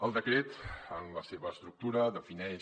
el decret en la seva estructura defineix